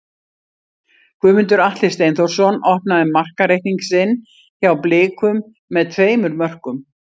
Guðmundur Atli Steinþórsson opnaði markareikning sinn hjá Blikum með tveimur mörkum.